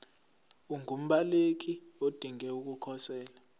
ungumbaleki odinge ukukhosela